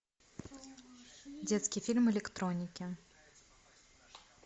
детский фильм электроники